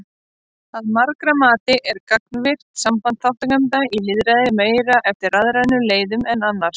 Að margra mati er gagnvirkt samband þátttakenda í lýðræði meira eftir rafrænum leiðum en annars.